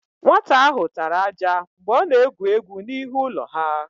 Nwata áhụ̀ tara ájá mgbe ọ na-egwu égwú n'ihu ụlọ ha.